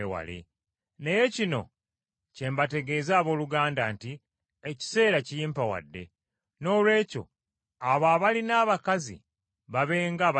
Naye kino kye mbategeeza abooluganda nti ekiseera kiyimpawadde. Noolwekyo abo abalina abakazi babe ng’abatabalina.